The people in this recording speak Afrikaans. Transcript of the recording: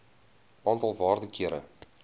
aantal waarde kere